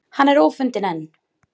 Hann er ófundinn enn